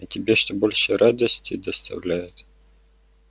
а тебе что больше радости доставляет